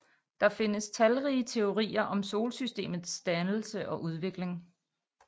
Der findes talrige teorier om Solsystemets dannelse og udvikling